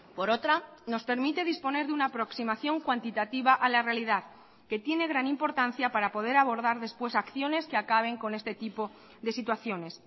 por otra nos permite disponer de una aproximación cuantitativa a la realidad que tiene gran importancia para poder abordar después acciones que acaben con este tipo de situaciones